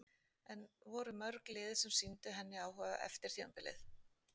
En voru mörg lið sem sýndu henni áhuga eftir tímabilið?